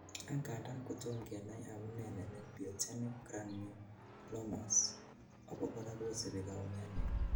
Angandan kotom kenai amune nenin pyogenic granulomas, obokora kosibi kaumianet.